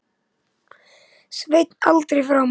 Svein aldrei framar.